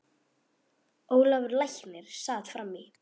Ólafur læknir sat fram í.